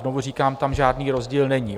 Znovu říkám, tam žádný rozdíl není.